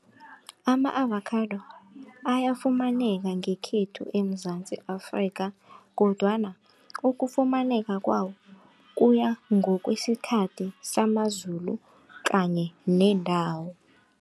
Ama-avakhado ayafumaneka ngekhethu eMzansi Afrika kodwana ukufumaneka kwawo, kuya ngokwesikhathi samazulu kanye nendawo.